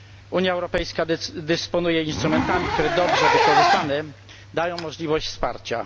Unia Europejska dysponuje instrumentami, które dobrze wykorzystane dają możliwość wsparcia.